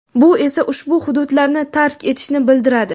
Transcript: bu esa ushbu hududlarni tark etishni bildiradi.